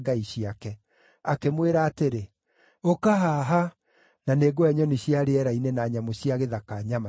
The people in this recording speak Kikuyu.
Akĩmwĩra atĩrĩ, “Ũka haha, na nĩngũhe nyoni cia rĩera-inĩ na nyamũ cia gĩthaka nyama ciaku!”